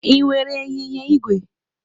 Ị nwere ịnyịnya igwe?